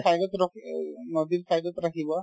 side ত ৰখি নদীৰ side ত ৰাখিবা